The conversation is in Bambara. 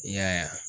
I y'a ye